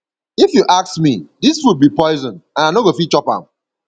if you ask me dis food be poison and i no go fit chop am